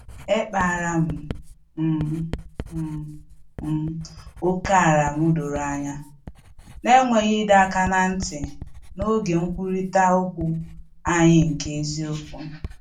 Ekpara m um m um ókèala m doro anya, n’enweghị ịdọ aka ná ntị, n’oge nkwurịta okwu anyị nke eziokwu